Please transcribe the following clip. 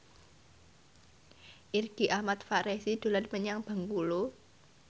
Irgi Ahmad Fahrezi dolan menyang Bengkulu